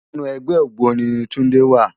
Inú ègbè ôgbóni ni Tunde wá